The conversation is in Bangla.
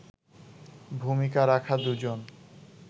ভূমিকা রাখা দুজন